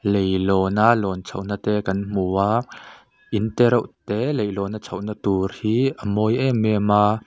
leilawn a lawn chhohna te kan hmu a in te reuh te leilawna a lawn chhohna tur hi a mawi em em a.